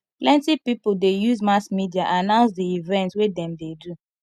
plenty pipo dey use mass media announce di event wey dem dey do